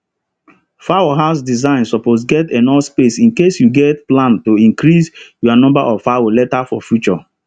fowl house design suppose get enough space incase you get plan to increase your number of fowl later for future